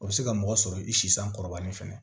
O bɛ se ka mɔgɔ sɔrɔ i si san kɔrɔlen fana